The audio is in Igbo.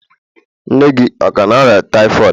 Nne gị ọ ka na-arịa typhoid?